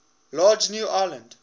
large new land